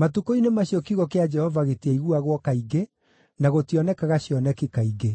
Matukũ-inĩ macio kiugo kĩa Jehova gĩtiaiguagwo kaingĩ, na gũtionekaga cioneki kaingĩ.